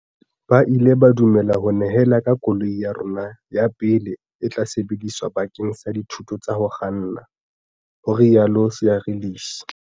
Ba ile ba du mela ho nyehela ka koloi ya rona ya pele e tla sebediswa bakeng sa dithuto tsa ho kganna, ho ile ha rialo Seirlis.